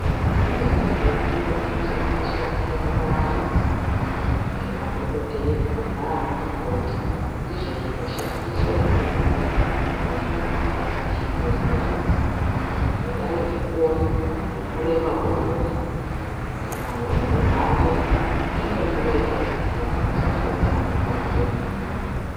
Zvimweni zvezviro zvinoshandiswa mukurapa anthu ngemadhokodheya nana mukoti, ndizvo zvinoshandiswa izvozvo muzvibhedhlera. Kudai ngekuona kureba kwemunthu kana uremu hwake. Zvinodiwa izvozvo vanthu vasati vatange kurape munthu.